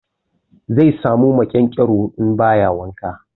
Zai samu maƙyanƙyaro in ba ya wanka.